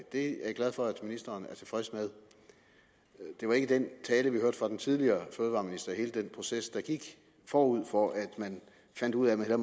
det er jeg glad for at ministeren er tilfreds med det var ikke den tale vi hørte fra den tidligere fødevareminister i hele den proces der gik forud for at man fandt ud af at